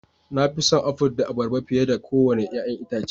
Na fi son Aful da Abarba fiye da kowane 'ya'yan itace